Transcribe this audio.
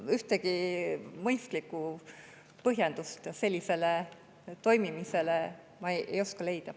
Ühtegi mõistlikku põhjendust sellisele toimimisele ma ei oska leida.